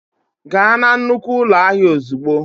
Gaa na nnukwu ụlọ ahịa ozugbo.!